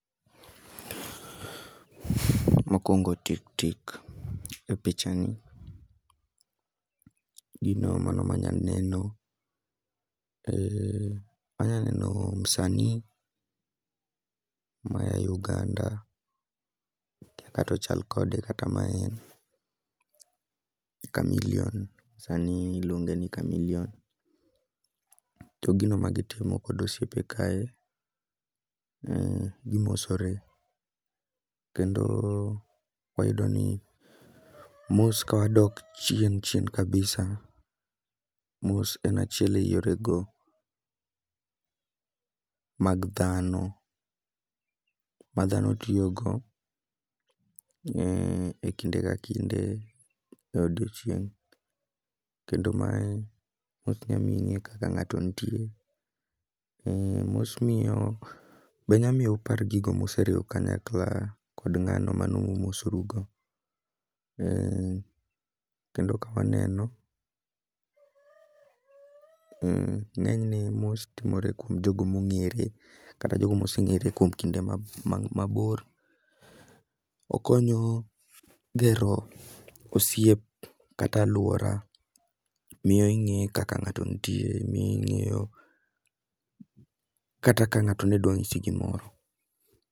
Mokwongo tik tik e picha ni gino mano manya neno e anya neno msanii maya Uganda. Akia katochal kode kata ma e en, Chameleon, sani iluonge ni Chameleon. To gino ma gitimo kod osiepe kae, gimosore. Kendo wayudo ni mos ka wadok chien chien kabisa, mos en achiel e yore go mag dhano. Ma dhano tiyo go e, e kinde ka kinde e odiochieng'. Kendo mae ok nyamiye kaka ng'ato nitie, e mos miyo be nya miyo upar gigo museriwo kanyakla kod ng'ano manu umosorugo. Kendo ka waneno ng'enyne mos timore kuom jogo mong'ere. Kata jogo moseng'ere kuom kinde mabor, okonyo gero osiep kata alwora. Miyo ing'e kaka ng'ato nitie, miyo ing'eyo kata ka ng'ato ne dwang'isi gimoro.